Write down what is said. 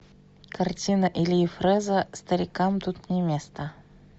картина ильи фрэза старикам тут не место